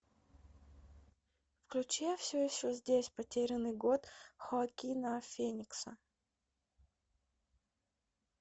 включи я все еще здесь потерянный год хоакина феникса